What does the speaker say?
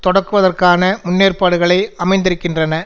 தொடக்குவதற்கான முன்னேற்பாடுகளை அமைந்திருக்கின்றன